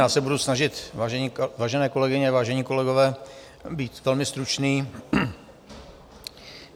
Já se budu snažit, vážené kolegyně, vážení kolegové, být velmi stručný.